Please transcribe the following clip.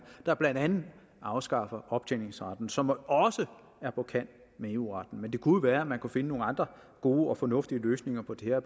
der blandt andet afskaffer optjeningsretten som også er på kant med eu retten men det kunne være man kunne finde nogle andre gode og fornuftige løsninger på det her